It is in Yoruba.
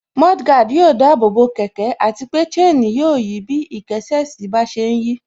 Mudguard yóò dáàbò bo kẹ̀kẹ́ àti pé chain yóò yí bí ìkésè sí bá ṣe ń yí